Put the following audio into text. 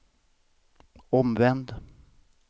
omvänd